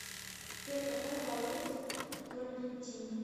сбер какая валюта в аргентине